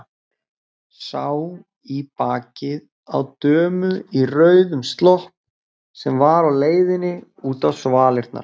Sá í bakið á dömu í rauðum slopp sem var á leiðinni út á svalirnar.